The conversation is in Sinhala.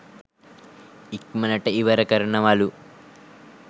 ඉක්මනට ඉවර කරනවලු.